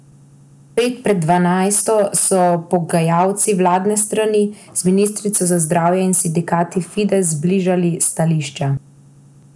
Pet pred dvanajsto so pogajalci vladne strani z ministrico za zdravje in sindikat Fides zbližali stališča.